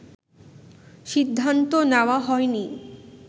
সিদ্ধান্ত নেওয়া হয়নি